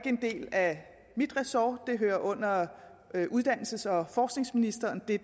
en del af mit ressort det hører under uddannelses og forskningsministeren det